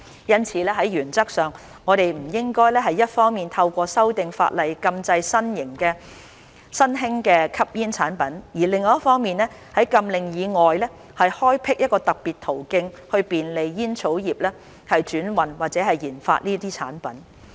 因此，在原則上，我們不應一方面透過修訂法例禁制新興的吸煙產品，另一方面在禁令以外開闢特別途徑便利煙草業轉運或研發這些產品。